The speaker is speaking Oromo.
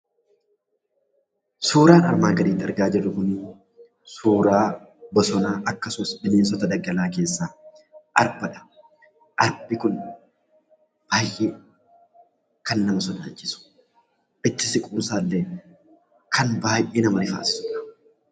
Suuraan armaan gadiitti argaa jirru kun suuraa bosonaa akkasumas suuraa bineensota daggalaa keessaa arbadha. Arbi kun baay'ee kan nama sodaachisu itti siquun isaallee kan baay'ee nama rifaasisudha.